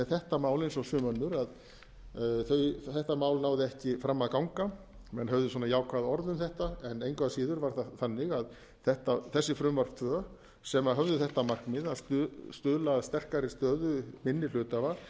þetta mál eins og sum önnur þetta mál náði ekki fram að ganga menn höfðu svona jákvæð orð um þetta en engu að síður var það þannig að þessi frumvörp tvö sem höfðu þetta markmið að stuðla að sterkari stöðu minni hluthafa